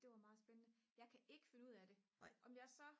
det var meget spændende jeg kan ikke finde ud af det om jeg så